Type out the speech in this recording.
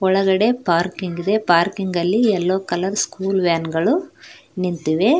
ಒಳಗಡೆ ಪಾರ್ಕಿಂಗ್ ಇದೆ ಪಾರ್ಕಿಂಗಲ್ಲಿ ಎಲ್ಲೋ ಕಲರ್ ಸ್ಕೂಲ್ ವ್ಯಾನ್ಗಳು ನಿಂತಿವೆ.